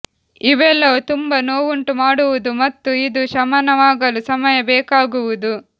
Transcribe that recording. ಇವೆಲ್ಲವೂ ತುಂಬಾ ನೋವುಂಟು ಮಾಡುವುದು ಮತ್ತು ಇದು ಶಮನವಾಗಲು ಸಮಯ ಬೇಕಾಗುವುದು